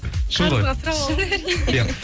шын ғой шын әрине